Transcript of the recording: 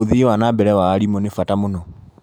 ũthii wa na mbere wa arimũ nĩ bata mũno.